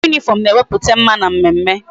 Uwe uniform na eweputa mma na mmemme